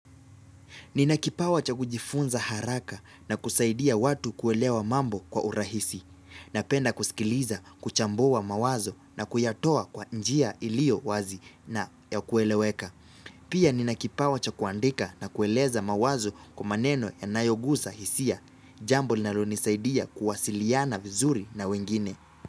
Ninakipawa cha kujifunza haraka na kusaidia watu kuelewa mambo kwa urahisi. Napenda kusikiliza, kuchambua mawazo na kuyatoa kwa njia iliowazi na ya kueleweka. Pia ninakipawa cha kuandika na kueleza mawazo kwabmaneno yanayogusa hisia. Jambo linalonisaidia kuwasiliana vizuri na wengine.